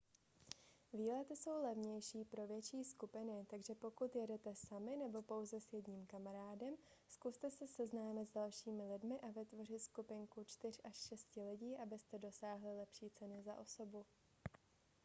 výlety jsou levnější pro větší skupiny takže pokud jedete sami nebo pouze s jedním kamarádem zkuste se seznámit s dalšími lidmi a vytvořit skupinku čtyř až šesti lidí abyste dosáhli lepší ceny za osobu